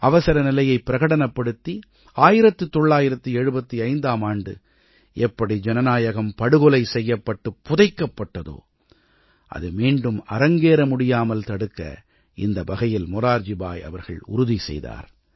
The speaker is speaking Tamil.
அவசரநிலையைப் பிரகடனப்படுத்தி 1975ஆம் ஆண்டு எப்படி ஜனநாயகம் படுகொலை செய்யப்பட்டுப் புதைக்கப்பட்டதோ அது மீண்டும் அரங்கேற முடியாமல் தடுக்க இந்த வகையில் மொரார்ஜி பாய் அவர்கள் உறுதிசெய்தார்